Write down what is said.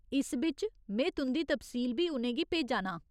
इस बिच्च में तुं'दी तफसील बी उ'नें गी भेजा नां ।